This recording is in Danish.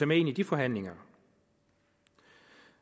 med ind i de forhandlinger